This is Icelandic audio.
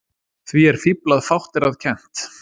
Því er fífl að fátt er að kennt.